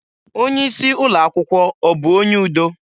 Onye isi ụlọakwụkwọ ọ bụ onye udo?